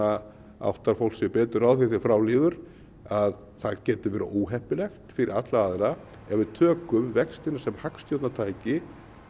áttar fólk sig betur á því þegar frá líður að það getur verið óheppilegt fyrir alla aðila ef við tökum vextina sem hagstjórnartæki